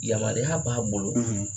Yamaluya b'a bolo